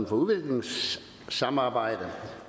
for udviklingssamarbejde